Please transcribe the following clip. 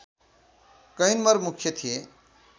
कैनमर मुख्य थिए